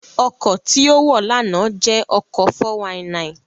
Ọkọ̀ tí ó wọ̀ lánàá jẹ́ ọkọ̀ 419